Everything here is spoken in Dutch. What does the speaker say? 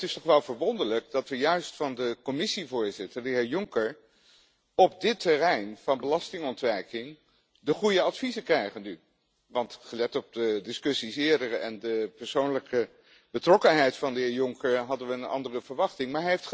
En het is toch wel verwonderlijk dat we juist van de Commissievoorzitter, de heer Juncker, op het terrein van belastingontwijking nu de goede adviezen krijgen, want gelet op de eerdere discussies en de persoonlijke betrokkenheid van de heer Juncker hadden we een andere verwachting.